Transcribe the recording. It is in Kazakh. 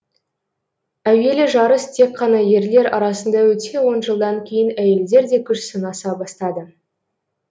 әуелі жарыс тек қана ерлер арасында өтсе он жылдан кейін әйелдер де күш сынаса бастады